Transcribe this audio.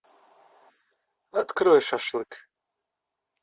открой шашлык